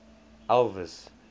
elvis